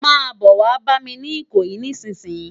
Má bò wá bàmi ni Ikoyi nisinsin